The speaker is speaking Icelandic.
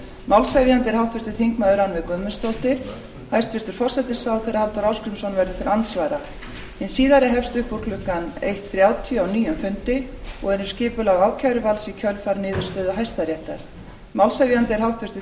málshefjandi er háttvirtur þingmaður rannveig guðmundsdóttir hæstvirtur forsætisráðherra halldór ásgrímsson verður til andsvara hin síðari hefst upp úr klukkan eitt komma þrjátíu á nýjum fundi og er um skipulag ákæruvalds í kjölfar niðurstöðu hæstaréttar málshefjandi er háttvirtir þingmenn